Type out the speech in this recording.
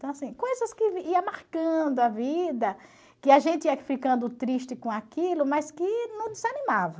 Então, assim, coisas que iam marcando a vida, que a gente ia ficando triste com aquilo, mas que não desanimava.